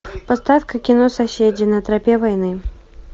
поставь ка кино соседи на тропе войны